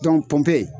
pɔnpe